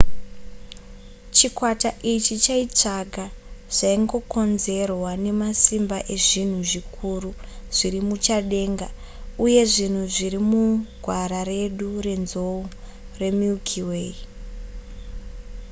chikwata ichi chaitsvaga zvaingokonzerwa nemasimba ezvinhu zvikuru zviri muchadenga uye zvinhu zviri mugwara redu renzou remilky way